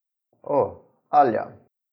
O, Alja.